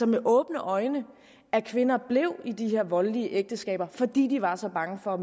med åbne øjne at kvinder blev i de her voldelige ægteskaber fordi de var så bange for